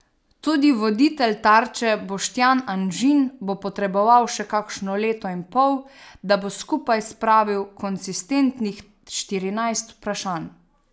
Tudi voditelj Tarče Boštjan Anžin bo potreboval še kakšno leto in pol, da bo skupaj spravil konsistentnih štirinajst vprašanj.